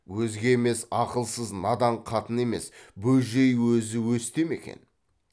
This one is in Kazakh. өзге емес ақылсыз надан қатыны емес бөжей өзі өсте ме екен